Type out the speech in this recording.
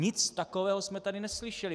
Nic takového jsme tady neslyšeli.